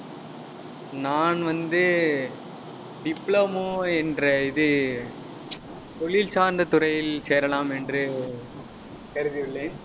நான் வந்து, diploma என்ற இது தொழில் சார்ந்த துறையில் சேரலாம் என்று கருதி உள்ளேன்